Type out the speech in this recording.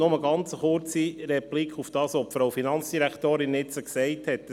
Nur eine kurze Replik auf das, was die Finanzdirektorin eben gesagt hat.